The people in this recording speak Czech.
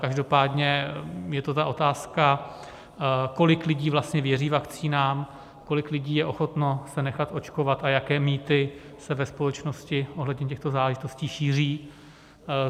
Každopádně je to ta otázka, kolik lidí vlastně věří vakcínám, kolik lidí je ochotno se nechat očkovat a jaké mýty se ve společnosti ohledně těchto záležitostí šíří.